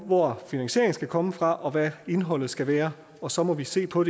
hvor finansieringen skal komme fra og hvad indholdet skal være og så må vi se på